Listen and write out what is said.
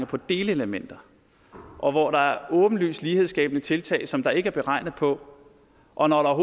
på delelementer og hvor der åbenlyst er lighedsskabende tiltag som der ikke er beregnet på og når der